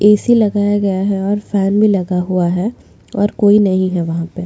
AC भी लगाया गया हुआ है और फॅन भी लगा हुआ है और कोई नहीं है वहा पे।